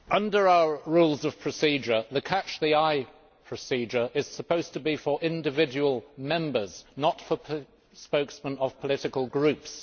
Mr President, under our Rules of Procedure, the catch the eye procedure is supposed to be for individual Members, not for spokesmen of political groups.